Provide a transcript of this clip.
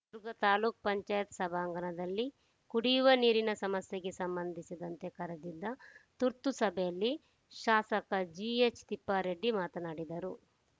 ಚಿತ್ರದುರ್ಗ ತಾಲೂಕ್ ಪಂಚಾಯತ್ ಸಭಾಂಗಣದಲ್ಲಿ ಕುಡಿಯುವ ನೀರಿನ ಸಮಸ್ಯೆಗೆ ಸಂಬಂಧಿಸಿದಂತೆ ಕರೆದಿದ್ದ ತುರ್ತು ಸಭೆಯಲ್ಲಿ ಶಾಸಕ ಜಿಎಚ್‌ತಿಪ್ಪಾರೆಡ್ಡಿ ಮಾತನಾಡಿದರು